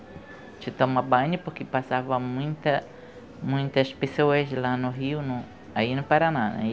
tomar banho porque passava muita muitas pessoas lá no Rio, no, aí no Paraná, aí